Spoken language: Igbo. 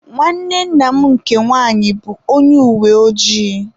Nwanne nna m nke nwaanyị bụ onye uweojii.